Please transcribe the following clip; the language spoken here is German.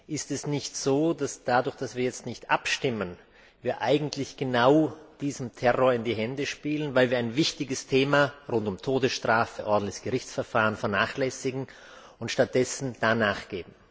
Ist es nicht so, dass dadurch, dass wir jetzt nicht abstimmen, wir eigentlich genau diesem Terror in die Hände spielen, weil wir ein wichtiges Thema rund um Todesstrafe, ordentliches Gerichtsverfahren vernachlässigen und stattdessen da nachgeben?